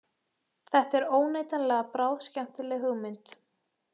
Þetta er óneitanlega bráðskemmtileg hugmynd